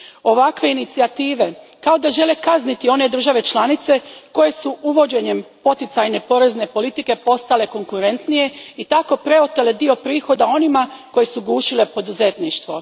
Ovakve inicijative, kao da žele kazniti one države članice koje su uvođenjem poticajne porezne politike postale konkurentnije i tako preotele dio prihoda onima koje su gušile poduzetništvo.